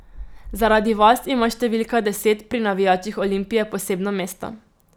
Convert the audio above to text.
Zaradi vas ima številka deset pri navijačih Olimpije posebno mesto.